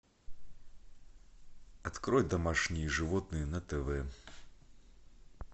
открой домашние животные на тв